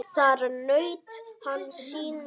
Þar naut hann sín líka.